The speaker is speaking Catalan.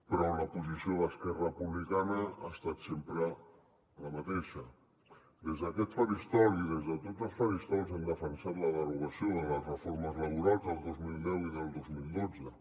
però la posició d’esquerra republicana ha estat sempre la mateixa des d’aquest faristol i des de tots els faristols hem defensat la derogació de les reformes laborals del dos mil deu i del dos mil dotze